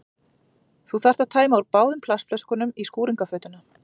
Þú þarft að tæma úr báðum plastflöskunum í skúringafötuna.